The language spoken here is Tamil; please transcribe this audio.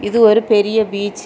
இது ஒரு பெரிய பீச் .